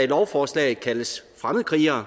i lovforslaget kaldes fremmedkrigere